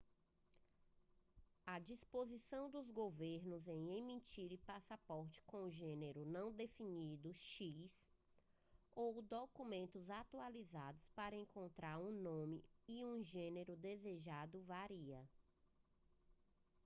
a disposição dos governos em emitirem passaportes com gênero não definido x ou documentos atualizados para encontrar um nome e um gênero desejados varia